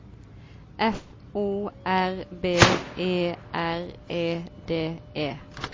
F O R B E R E D E